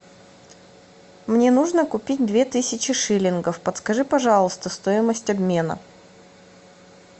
мне нужно купить две тысячи шиллингов подскажи пожалуйста стоимость обмена